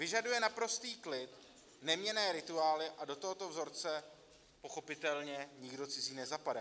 Vyžaduje naprostý klid, neměnné rituály a do tohoto vzorce pochopitelně nikdo cizí nezapadá.